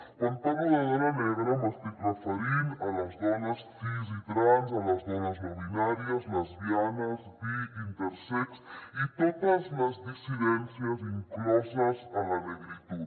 quan parlo de dona negra m’estic referint a les dones cis i trans a les dones no binàries lesbianes bi intersex i totes les dissidències incloses a la negritud